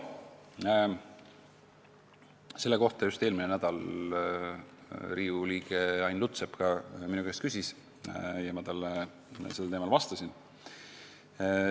Selle kohta küsis eelmine nädal minu käest Riigikogu liige Ain Lutsepp ja ma talle vastasin.